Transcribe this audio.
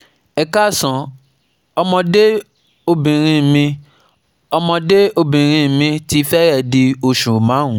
Ẹ káàsán, ọmọde obinrin mi ọmọde obinrin mi ti fẹrẹẹ di osu marun